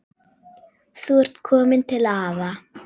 Þú ert komin til afa.